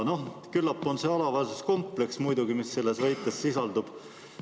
Küllap on see muidugi alaväärsuskompleks, mis selles väites sisaldub.